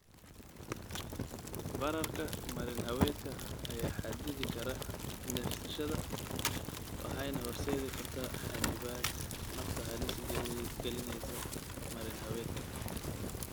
Bararka marin-haweedka ayaa xaddidi kara neefsashada waxayna horseedi kartaa xannibaad nafta halis gelinaysa marin-haweedka.